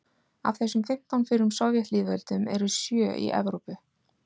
af þessum fimmtán fyrrum sovétlýðveldum eru sjö í evrópu